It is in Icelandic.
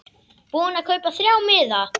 Búinn að kaupa þrjá miða.